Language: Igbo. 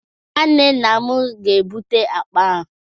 Nwanne nna m ga-ebute akpa ahụ